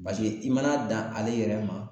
i mana dan ale yɛrɛ ma